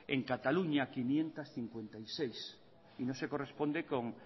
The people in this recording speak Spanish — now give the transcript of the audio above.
en cataluña quinientos cincuenta y seis y no se corresponde con